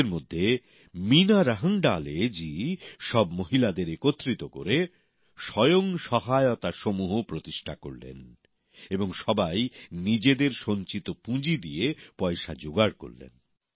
এদের মধ্যে মিনা রাহংগডালে জি সব মহিলাদের একত্রিত করে স্বয়ং সহায়তা সমূহ প্রতিষ্ঠা করলেন এবং সবাই নিজেদের সঞ্চিত পুঁজি দিয়ে পয়সা যোগাড় করলেন